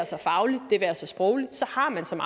sig fagligt det være sig sprogligt så har man som